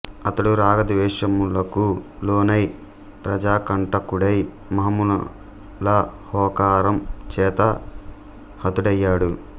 అతడు రాగద్వేషములకు లోనై ప్రజాకంటకుడై మహామునుల హోకారం చేత హతుడయ్యాడు